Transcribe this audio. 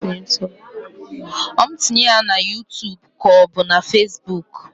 Ọ mụ tinye ya na yuutub k'ọ bụ na fesbuk?